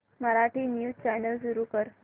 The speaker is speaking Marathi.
मराठी न्यूज चॅनल सुरू कर